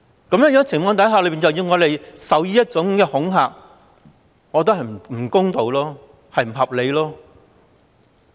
在這種情況下，要我們受這種恐嚇，我覺得不公道、不合理。